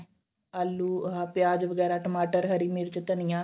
ਆਲੂ ਆਹ ਪਿਆਜ ਵਗੈਰਾ ਟਮਾਟਰ ਹਰੀ ਮਿਰਚ ਧਨੀਆ